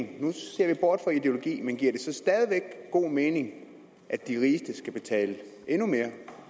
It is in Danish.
nu ser vi bort fra ideologi men giver det så stadig god mening at de rigeste skal betale endnu mere